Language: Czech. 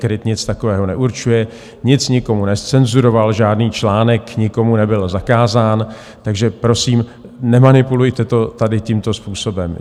KRIT nic takového neurčuje, nic nikomu nezcenzuroval, žádný článek nikomu nebyl zakázán, takže prosím nemanipulujte to tady tímto způsobem.